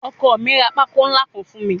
Ọkọ mi ra pákó ńlá kan fún mi